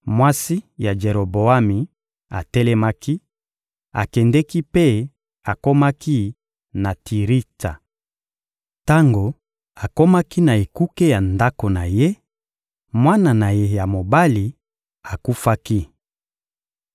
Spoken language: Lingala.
Mwasi ya Jeroboami atelemaki, akendeki mpe akomaki na Tiritsa. Tango akomaki na ekuke ya ndako na ye, mwana na ye ya mobali akufaki.